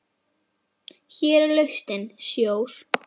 Hér er lausnin sjór.